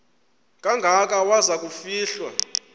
kangaka waza kufihlwa